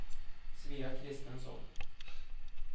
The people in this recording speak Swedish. Svea Christensson